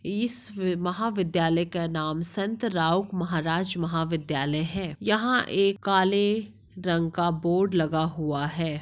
इस महाविध्यालय का नाम संत राव महाराज विध्यालय है यहा एक काले रंग का बोर्ड लगा हुआ हैं।